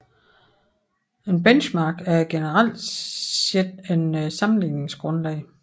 Et benchmark er generelt set et sammenligningsgrundlag